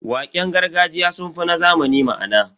Waƙen gargajiya sun fi na zamani ma'ana.